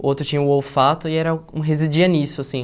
O outro tinha o olfato e era residia nisso, assim.